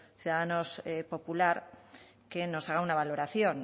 ciudadanos popular que nos haga una valoración